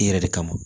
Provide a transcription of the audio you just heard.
I yɛrɛ de kama